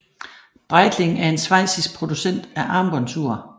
Breitling er en schweizisk producent af armbåndsur